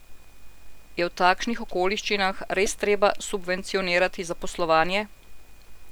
Je v takšnih okoliščinah res treba subvencionirati zaposlovanje?